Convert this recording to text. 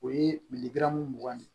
O ye mugan de ye